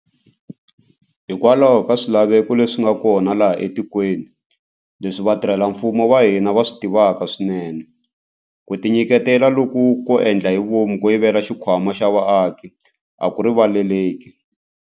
Hikokwalaho ka swilaveko leswi nga kona laha etikweni, leswi vatirhela mfumo va hina va swi tivaka swinene, ku tinyiketela loku ko endla hi vomu ko yivela xikhwama xa vaaki a ku rivaleleki.